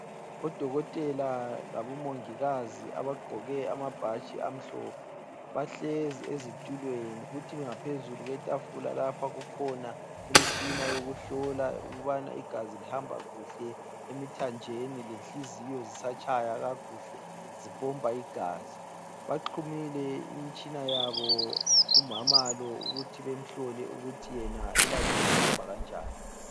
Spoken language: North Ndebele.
Odokotela labo mongikazi abagqoke amabhatshi amhlophe bahlezi ezitulweni kuthi ngaphezula kwetafula lapha kukhona imtshina yokuhlola ukubana igazi lihamba kuhle emithanjeni lenhliziyo zisatshaya kakuhle zipompa igazi. Baxhumile imtshina yabo kumama lo ukuthi bemhlole ukuthi yena elakhe lihamba kanjani.